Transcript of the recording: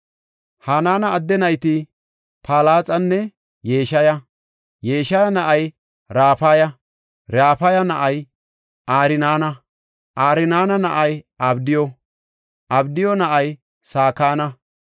Hanaana adde nayti Palaxanne Yeshaya. Yeshaya na7ay Rafaya; Rafaya na7ay Arnaana; Arnaana na7ay Abdiyu; Abdiyu na7ay Sakana;